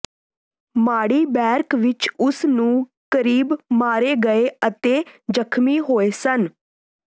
ਮਾੜੀ ਬੈਰਕ ਵਿਚ ਉਸ ਨੂੰ ਕਰੀਬ ਮਾਰੇ ਗਏ ਅਤੇ ਜ਼ਖਮੀ ਹੋਏ ਸਨ